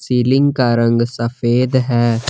Ceiling का रंग सफेद है।